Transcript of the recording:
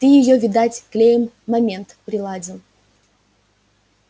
ты её видать клеем момент приладил